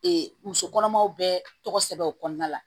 muso kɔnɔmaw bɛ tɔgɔ sɛbɛn o kɔnɔna la